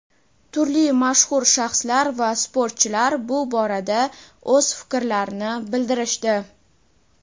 turli mashhur shaxslar va sportchilar bu borada o‘z fikrlarini bildirishdi.